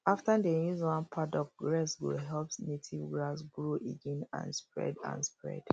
after dem use one paddock rest go help native grass grow again and spread and spread